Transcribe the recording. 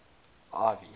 ivy